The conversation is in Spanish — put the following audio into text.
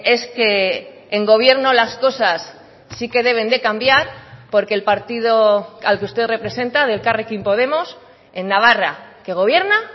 es que en gobierno las cosas sí que deben de cambiar porque el partido al que usted representa de elkarrekin podemos en navarra que gobierna